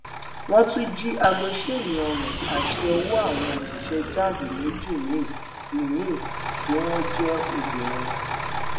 wọn tún jí aago ṣéènì ọrun àti ọwọ àwọn òṣìṣẹ jamb méjì míín tí míín tí wọn jẹ obìnrin